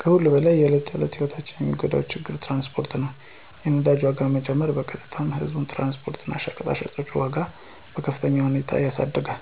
ከሁሉም በላይ የዕለት ተዕለት ሕይወትን የሚጎዳ ዋነኛ ችግር ትራንስፖርት ነው። የነዳጅ ዋጋ መጨመር በቀጥታ የህዝብ ትራንስፖርት እና የሸቀጦች ዋጋን በከፍተኛ ሁኔታ ያሳድጋል።